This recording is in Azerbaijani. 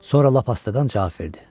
Sonra lap astadan cavab verdi.